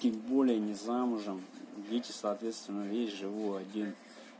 тем более не замужем дети соответственно есть живу один